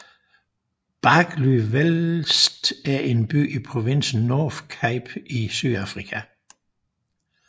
Barkly West er en by i provinsen Northern Cape i Sydafrika